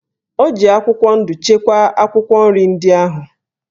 O ji akwụkwọ ndụ chekwaa akwụkwọ nri ndị ahụ.